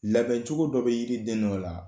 Labɛn cogo dɔ bɛ yiri den dɔ la